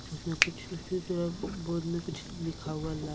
इसमें कुछ different colour में बोर्ड में कुछ लिखा हुआ--